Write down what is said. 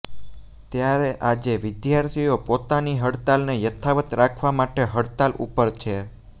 ત્યારે આજે વિદ્યાર્થીઓ પોતાની હડતાલને યથાવત રાખવા માટે હડતાલ ઉપર છે